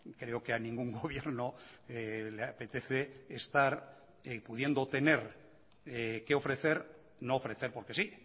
creo que a ningún gobierno le apetece estar pudiendo tener qué ofrecer no ofrecer porque sí